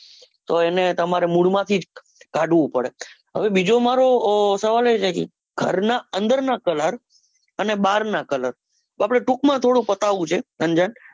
તો એને તમારે મૂળમાંથી જ કાઢવું પડે. હવે બીજું મારે સવાલ એ છે કે ઘર ના અંદરના colour અને બાર ના colour આપડે ટૂંક માં થોડું પતાવું છે.